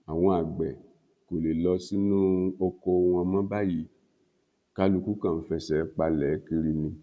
àwọn àgbẹ kò lè lọ sínú ọkọ wọn mọ báyìí kálukú kan ń fẹsẹ palẹ kiri ni